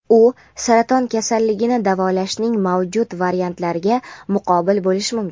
u saraton kasalligini davolashning mavjud variantlariga muqobil bo‘lishi mumkin.